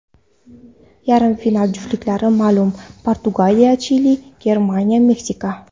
Yarim final juftliklari ma’lum: PortugaliyaChili, GermaniyaMeksika.